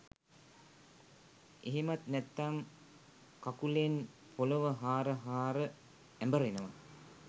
එහෙමත් නැත්නම් කකුලෙන් පොලව හාර හාර ඇඹරෙනවා